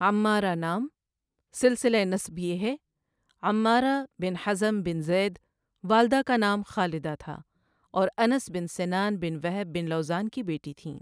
عمارہ نام، سلسلۂ نسب یہ ہے، عمارہ بن حزم بن زید والدہ کا نام خالدہ تھا اور انس بن سنان بن وہب بن لوذان کی بیٹی تھیں۔